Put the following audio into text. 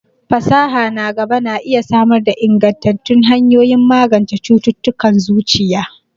Fasaha na gaba na iya samar da ingantattun hanyoyin magance cututtukan zuciya.